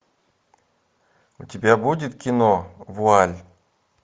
у тебя будет кино вуаль